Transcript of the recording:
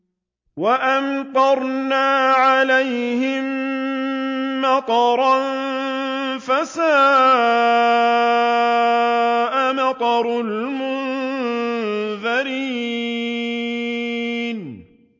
وَأَمْطَرْنَا عَلَيْهِم مَّطَرًا ۖ فَسَاءَ مَطَرُ الْمُنذَرِينَ